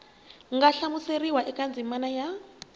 nga hlamuseriwa eka ndzimana ya